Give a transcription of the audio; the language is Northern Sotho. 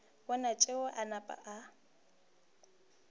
bona tšeo a napa a